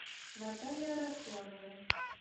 наталья росланова